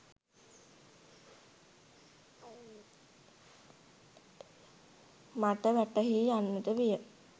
මට වැටහී යන්නට විය.